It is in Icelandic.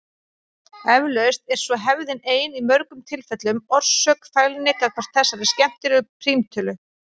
Eflaust er svo hefðin ein í mörgum tilfellum orsök fælni gagnvart þessari skemmtilegu prímtölu.